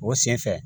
O sen fɛ